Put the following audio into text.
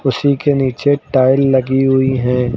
छी के नीचे टाइल लगी हुई है।